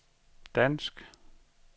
dansk